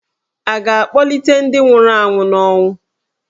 À ga-akpọlite ​​ndị nwụrụ anwụ n'ọnwụ?